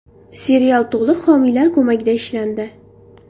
Serial to‘liq homiylar ko‘magida ishlandi.